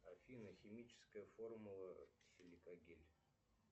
афина химическая формула силикогель